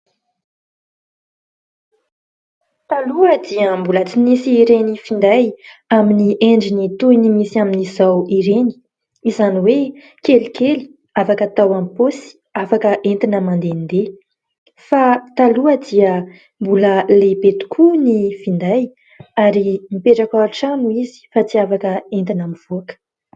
Taloha dia mbola tsy nisy ireny finday aminy endriny toy ny misy amin'izao ireny ; izany hoe kelikely afaka atao amin'ny paosy, afaka entina mandendeha fa taloha dia mbola lehibe tokoa ny finday ary mipetraka ao an-trano izy fa tsy afaka entina mivoaka.